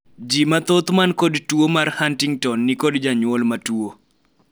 jii mathoth man kod tuo mar Huntington nikod janyuol matuo